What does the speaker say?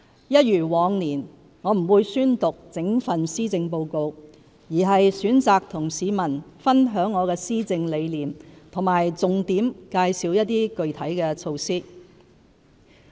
一如往年，我不會宣讀整份施政報告，而是選擇與市民分享我的施政理念和重點介紹一些具體措施。